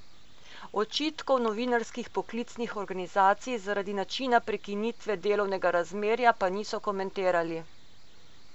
Očitkov novinarskih poklicnih organizacij zaradi načina prekinitve delovnega razmerja pa niso komentirali.